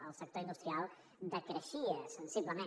el sector industrial decreixia sensiblement